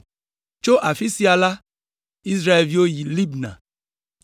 Tso afi sia la, Israelviwo yi Libna.